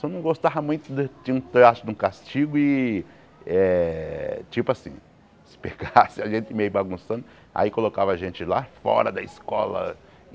Só não gostava muito de de um traço de um castigo e eh tipo assim, se pegasse a gente meio bagunçando, aí colocava a gente lá fora da escola.